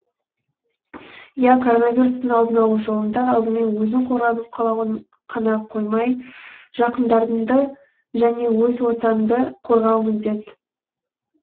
иә коронавирустың алдын алу жолында алдымен өзің қорғанып қана қоймай жақындарыңды және өз ортаңды қорғау міндет